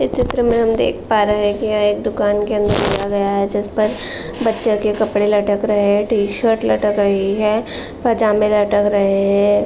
इस चित्र में हम देख पा रहे है कि यह एक दुकान के अंदर लिया गया है जिस पर बच्चो के कपड़े लटक रहे है टी-शर्ट लटक रही है पजामे लटक रहे है।